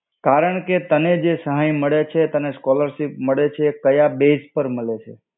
કારણ કે તને જે સહાય મળે છે તને scholarship મળે છે કાયા base પર મળે છે?